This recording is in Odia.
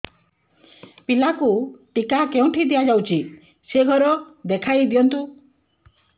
ପିଲାକୁ ଟିକା କେଉଁଠି ଦିଆଯାଉଛି ସେ ଘର ଦେଖାଇ ଦିଅନ୍ତୁ